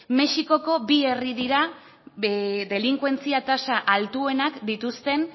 mexikoko bi herri dira delinkuentzia tasa altuenak dituzten